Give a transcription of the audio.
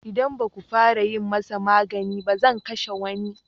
Idan ba ku fara yi masa magani ba, zan kashe wani.